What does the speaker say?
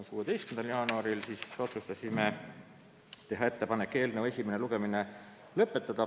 16. jaanuaril otsustasime teha ettepaneku eelnõu esimene lugemine lõpetada.